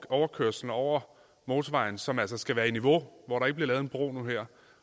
overkørslen over motorvejen som altså skal være i niveau og ikke bliver lavet en bro nu og her